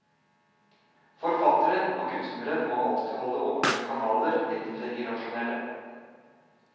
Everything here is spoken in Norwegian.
Forfatteren og kunstneren må alltid holde åpne kanaler ned til det irrasjonelle.